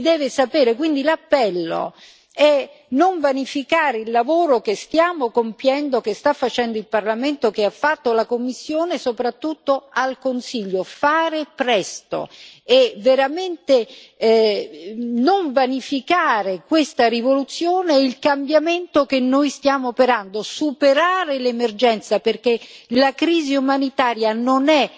Quindi l'appello è non vanificare il lavoro che stiamo compiendo, che sta facendo il Parlamento, che ha fatto la Commissione, e dire soprattutto al Consiglio di fare presto e veramente non vanificare questa rivoluzione e il cambiamento che noi stiamo operando, superare l'emergenza, perché la crisi umanitaria non è emergenza